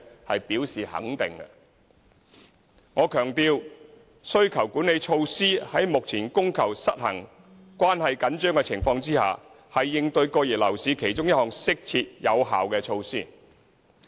我強調，需求管理措施在目前供求失衡、關係緊張的情況下，是應對過熱樓市的其中一項適切有效措施。